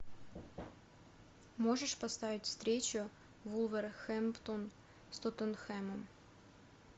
можешь поставить встречу вулверхэмптон с тоттенхэмом